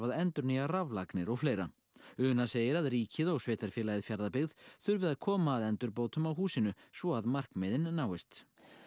endurnýja raflagnir og fleira hún segir að ríkið og sveitarfélagið Fjarðabyggð þurfi að koma að endurbótum á húsinu svo að markmiðin náist